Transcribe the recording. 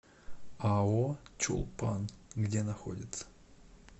ао чулпан где находится